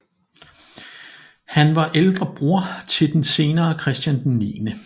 Han var ældre bror til den senere Christian 9